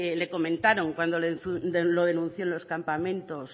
le comentaron cuando lo denunció en los campamentos